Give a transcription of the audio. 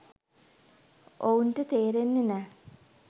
ඔවුන්ට තේරෙන්නෙ නෑ.